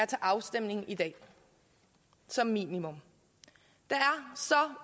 til afstemning i dag som minimum